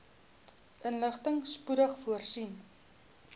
inligting spoedig voorsien